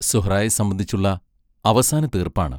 സുഹ്റായേ സംബന്ധിച്ചുള്ള അവസാന തീർപ്പാണ്.